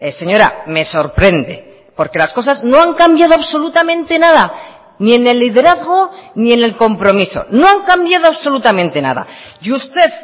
señora me sorprende porque las cosas no han cambiado absolutamente nada ni en el liderazgo ni en el compromiso no han cambiado absolutamente nada y usted